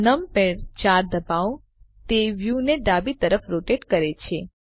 numpad 4 ડબાઓ તે વ્યુને ડાબી તરફ રોટેટ કરે છે